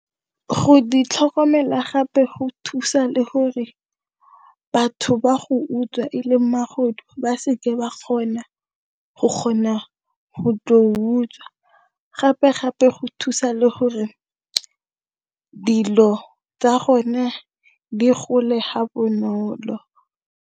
Go ditlhokomela gape go thusa le gore batho ba go utswa e leng magodu ba seke ba kgona go kgona go tlo utswa gape-gape go thusa le gore dilo tsa gone di gole ga bonolo.